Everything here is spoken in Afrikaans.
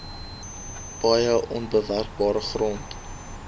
paaie onbewerkbare grond